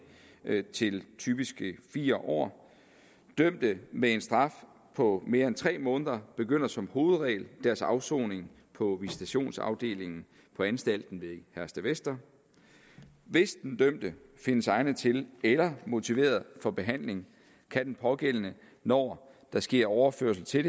til typisk fire år dømte med en straf på mere end tre måneder begynder som hovedregel deres afsoning på visitationsafdelingen på anstalten ved herstedvester hvis den dømte findes egnet til eller motiveret for behandling kan den pågældende når der sker overførsel til